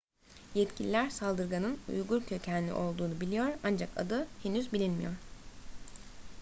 yetkililer saldırganın uygur kökenli olduğunu biliyor ancak adı henüz bilinmiyor